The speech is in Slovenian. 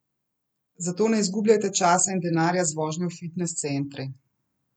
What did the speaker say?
Zato ne izgubljajte časa in denarja z vožnjo v fitnes centre.